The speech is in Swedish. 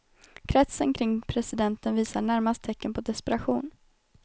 Kretsen kring presidenten visar närmast tecken på desperation.